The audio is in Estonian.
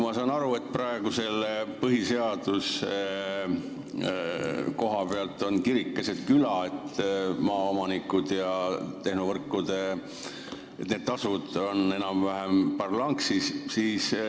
Ma saan aru, et praeguse põhiseaduse kohapealt on kirik keset küla – maaomanikud ja tehnovõrkude tasud on enam-vähem parlanksis.